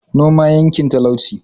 Noma yanke talauci